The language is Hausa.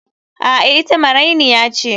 A'a, ita marainiya ce.